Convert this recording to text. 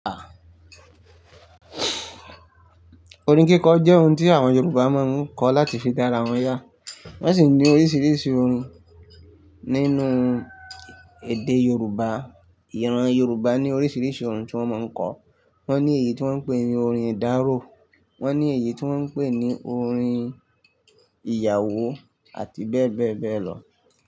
Orin kíkọ jẹ́ ohun tí àwọn Yorùbá máa ń kọ láti fi dára wọn yà. Wọ́n sì ní oríṣiríṣi orin nínú èdè Yorùbá. Ìran Yorùbá ní oríṣiríṣi orin tí wọ́n máa ń kọ. Wọ́n ní èyí tí wọ́n ń pè ní orin ìdárò, wọ́n ní èyí tí wọ́n ń pè ní orin ìyàwó àti bẹ́ẹ̀ bẹ́ẹ̀ bẹ́ẹ̀ lọ.